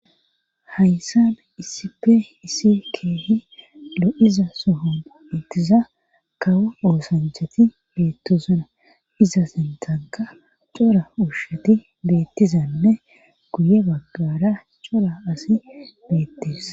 hayssan iisipe iisi keehi lo7iza sohon utiza kawo oosanchati beettosana iza sentanka cora uushati beettizanne guye baggara cora asi beettees